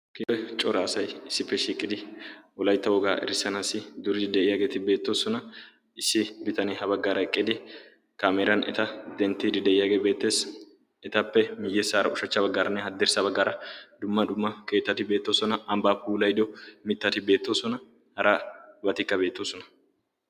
Issippe cora asay issippe shiiqidi wolaitta wogaa erissanaassi duridi de'iyaageeti beettoosona. issi bitanee ha baggaara eqqidi kaameeran eta denttiidi de'iyaagee beettees. etappe miyye saara ushachcha baggaaranne haddirssa baggaara dumma dumma keettati beettoosona. anbbaapuulaido mittati beettoosona. hara batikka beettoosona.